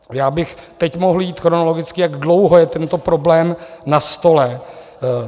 Já bych teď mohl jít chronologicky, jak dlouho je tento problém na stole.